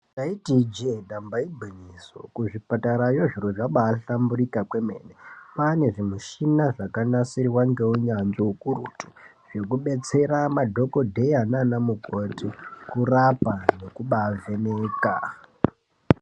Ndaiti ije, dambaigwinyiso kuzvipatarayo zviro zvabaihlamburika kwemene kwanezvimushina zvakanasirwa ngeunyanzvi hukurutu zvekudetsera madhogodheya nana mukoti kurapa nekubaivheneka.